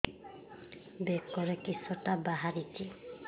ବେକରେ କିଶଟା ବାହାରିଛି